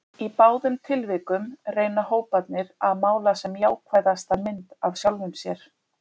Í báðum tilvikum reyna hóparnir að mála sem jákvæðasta mynd af sjálfum sér.